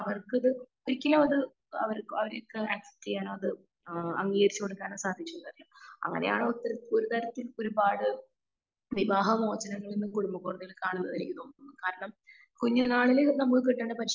അവർക്ക് ഇത് ഒരിക്കലും അത് അവർക്ക് അച്സിപ്റ്റ്‌ ചെയ്യാനോ അത് അംഗീകരിച്ചു കൊടുക്കാനോ സാധിച്ചുന്നു വരില്ലാ അങ്ങനെയാണ് ഇത്തരത്തിൽ ഒരു തരത്തിൽ ഒരുപാട് വിവാഹ മോജനങ്ങൾ കുടുംബ കോടതിയിൽ കാണുന്നതെന്ന് എന്നെനിക്കതോന്നുന്നത്. കാരണം കുഞ്ഞു നാളിൽ നമ്മുക്ക് കിട്ടുന്ന പരിശീലനം